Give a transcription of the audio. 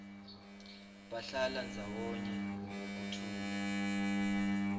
bahlala ndzawonye ngekuthula